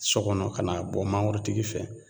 Sɔ gɔnɔ ka n'a bɔ mangorotigi fɛ